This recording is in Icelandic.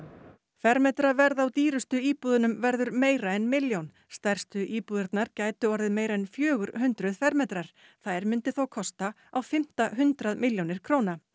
fermetraverð á dýrustu íbúðunum verður meira en milljón stærstu íbúðirnar gætu orðið meira en fjögur hundruð fermetrar þær myndu þá kosta á fimmta hundrað milljónir króna